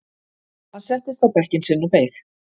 Hann settist á bekkinn sinn og beið.